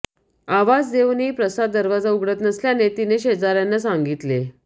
आवाज देऊनही प्रसाद दरवाजा उघडत नसल्याने तिने शेजारच्यांना सांगितले